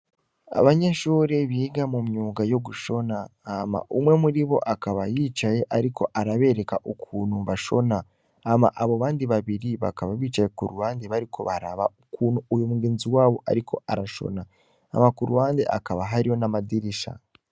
Abanyeshuri biga mu myuga yo gushona, hama umwe muri bo akaba yicaye ariko arabereka ukuntu bashona, hama abo bandi babiri bakaba bicaye ku ruhande bariko baraba ukuntu uyu mugenzi wabo ariko arashona, hama ku ruhande hakaba hariho n'amadirisha.